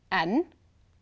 en